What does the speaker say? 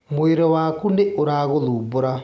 Mwĩrĩ waku nĩũragũthumbũra